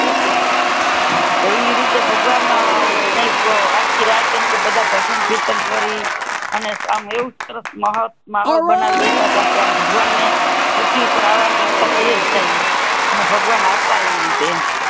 ઈ રીતે ભગવાન ને આખી રાત બધા ભજન કીર્તન કરી અને સામે એવું સરસ માહોલ માહોલ બનાવી દેતા તા કે ભગવાન ને પુથ્વી ઉપર આવાની ઈચ્છા થઇ જાય એમ ભગવાન આવતા એવી રીતે